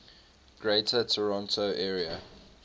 greater toronto area